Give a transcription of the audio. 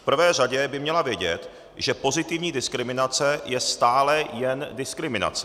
V prvé řadě by měla vědět, že pozitivní diskriminace je stále jen diskriminace.